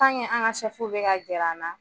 an ka bi ka gɛr'an na